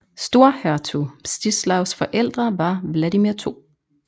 Storhertug Mstislavs forældre var Vladimir 2